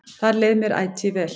Þar leið mér ætíð vel.